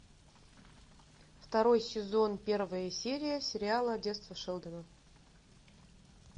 второй сезон первая серия сериала детство шелдона